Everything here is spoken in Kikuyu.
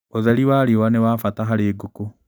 ũtheri wa riũa nĩ wa bata harĩ ngũkũ.